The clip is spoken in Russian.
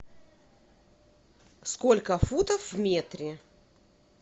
сколько футов в метре